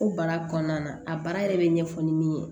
O baara kɔnɔna na a baara yɛrɛ bɛ ɲɛfɔ ni min ye